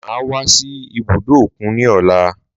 Máa wá sí ibùdó òkun ní ọ̀la